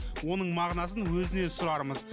оның мағынасын өзінен сұрармыз